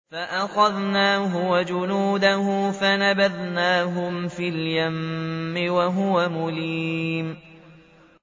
فَأَخَذْنَاهُ وَجُنُودَهُ فَنَبَذْنَاهُمْ فِي الْيَمِّ وَهُوَ مُلِيمٌ